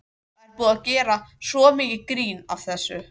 Það er búið að gera svo mikið grín að þessu.